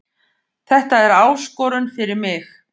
Þetta er áskorun fyrir mig